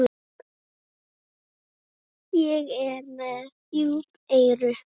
Ég er með djúp eyru.